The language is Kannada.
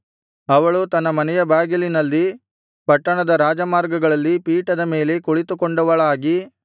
ಅವಳು ತನ್ನ ಮನೆಯ ಬಾಗಿಲಿನಲ್ಲಿ ಪಟ್ಟಣದ ರಾಜಮಾರ್ಗಗಳಲ್ಲಿ ಪೀಠದ ಮೇಲೆ ಕುಳಿತುಕೊಂಡವಳಾಗಿ